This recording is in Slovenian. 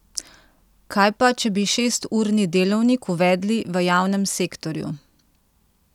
Kaj pa, če bi šesturni delovnik uvedli v javnem sektorju?